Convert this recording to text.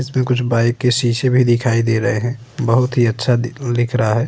इसमें कुछ बाइक के शीशे भी दिखाई दे रहे हैं। बोहोत ही अच्छा दी दिख रहा है।